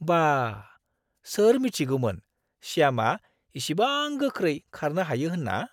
बाह! सोर मिथिगौमोन श्यामआ इसिबां गोख्रै खारनो हायो होनना!